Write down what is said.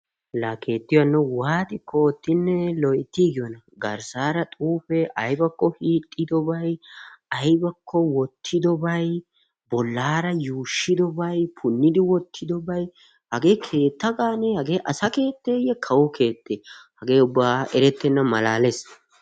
laa keettiyo hanno ha asati cadiidi de'iyo koyro tokketidaagee de'iyo koyro hagee ubba asaakka erettenna malaales.